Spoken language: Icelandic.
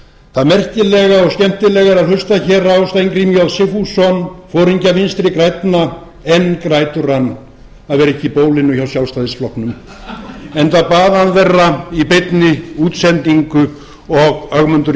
það merkilega og skemmtilega er að hlusta hér á steingrím j sigfússon foringja vinstri grænna enn grætur hann að vera ekki í bólinu hjá sjálfstæðisflokknum enda bað hann þeirra í beinni útsendingu og ögmundur